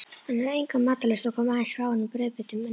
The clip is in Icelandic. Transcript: Hann hafði enga matarlyst og kom aðeins fáeinum brauðbitum niður.